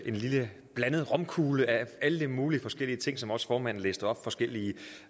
en lille blandet romkugle af alle mulige forskellige ting som også formanden læste op forskellige